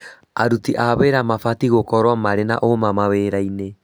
Aruti a wĩra mabatiĩ gukorwo marĩ na ũũma mawĩrainĩ